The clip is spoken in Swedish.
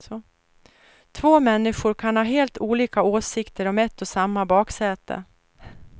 Två människor kan ha helt olika åsikter om ett och samma baksäte.